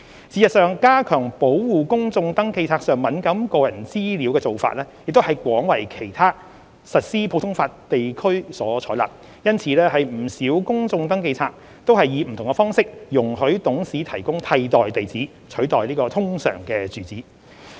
事實上，加強保護公眾登記冊上敏感個人資料的做法亦廣為其他實施普通法地區所採納，因此不少公眾登記冊皆以不同方式容許董事提供替代地址，取代通常住址。